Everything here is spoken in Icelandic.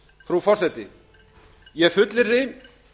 frú forseti ég fullyrði